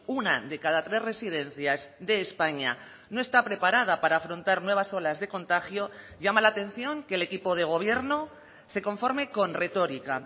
una de cada tres residencias de españa no está preparada para afrontar nuevas olas de contagio llama la atención que el equipo de gobierno se conforme con retórica